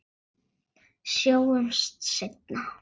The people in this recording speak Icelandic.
Sjáumst seinna.